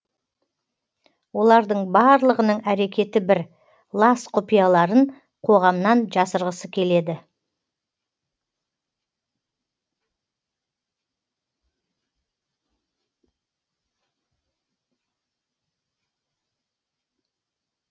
олардың барлығының әрекеті бір лас құпияларын қоғамнан жасырғысы келеді